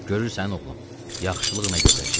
Görürsən, oğlum, yaxşılıq nə gözəl şeydi.